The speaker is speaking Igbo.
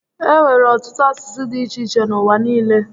E nwere ọtụtụ asụsụ dị iche iche n'ụwa niile